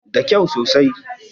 Da kau sosai